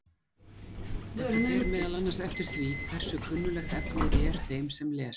þetta fer meðal annars eftir því hversu kunnuglegt efnið er þeim sem les